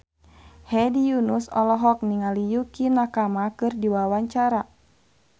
Hedi Yunus olohok ningali Yukie Nakama keur diwawancara